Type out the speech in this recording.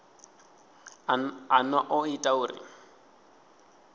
a no o ita uri